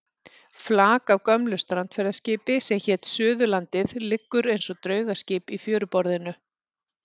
Flak af gömlu strandferðaskipi sem hét Suðurlandið liggur eins og draugaskip í fjöruborðinu.